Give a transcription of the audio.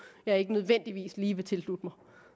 jeg ikke nødvendigvis lige vil tilslutte